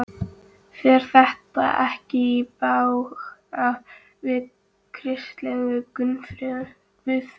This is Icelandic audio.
Fer þetta ekki í bága við kristilega guðfræði?